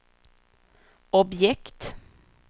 objekt